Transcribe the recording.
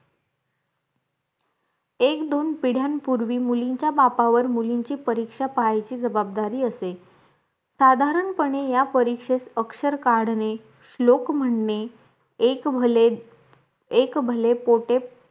एक दोन पिढ्यानपूर्वी मुलींचा बापावर मुलींची परीक्षा पाहणाची जवाबदारी असे साधारण पणे या परीक्षेस अक्षर काढणे श्लोक म्हणणे एक भले एक भले पोटे